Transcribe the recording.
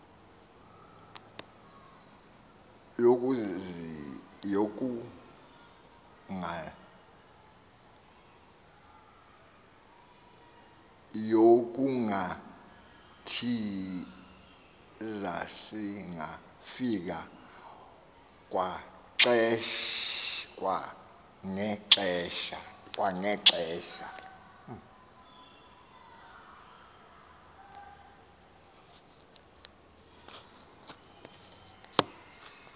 yokungathiza singafika kwangexesha